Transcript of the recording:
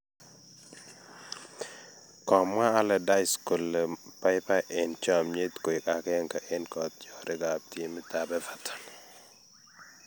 komwa Allardyce kole paipai en chomyet koig agenge en kotiorig ap timit ap Everton